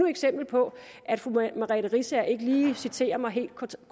eksempel på at fru merete riisager ikke citerer mig helt